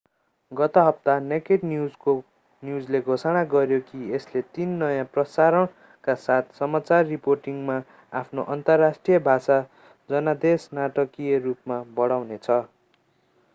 गत हप्ता नेकेड न्यूजले घोषणा गर्‍यो कि यसले तीन नयाँ प्रसारणका साथ समाचार रिपोर्टिंगमा आफ्नो अन्तर्राष्ट्रिय भाषा जनादेश नाटकीय रूपमा बढाउनेछ।